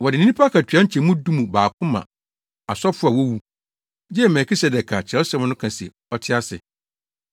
Wɔde nnipa akatua nkyɛmu du mu baako ma asɔfo a wowu, gye Melkisedek a Kyerɛwsɛm no ka se ɔte ase.